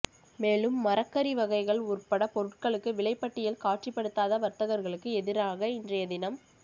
மேலும் மரக்கறி வகைகள் உற்பட பொருட்களுக்கு விலைப்பட்டியல் காட்சிப்படுத்தாத வர்த்தகர்களுக்கு எதிராக இன்றைய தினம்